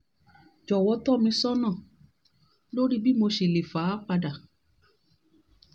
jọ̀wọ́ tọ́ mi sọ́nà lórí bí mo ṣe lè fà á padà